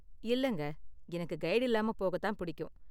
இல்லங்க, எனக்கு கைடு இல்லாம போகத்தான் புடிக்கும்.